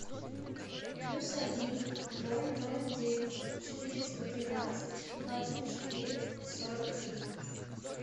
плюс один ноль ноль девять четыреста тринадцать двадцать четыре сорок три